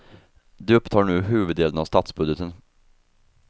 De upptar nu huvuddelen av statsbudgeten.